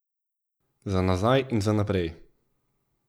Za nazaj in za naprej.